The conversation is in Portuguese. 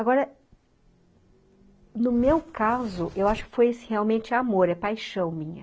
Agora, no meu caso, eu acho que foi realmente amor, é paixão minha.